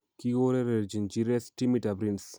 Kikourerenjin Jires timitab Rennes